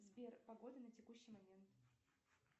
сбер погода на текущий момент